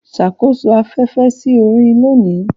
Ṣàkóso afẹ́fẹ́ sí orin lónìí.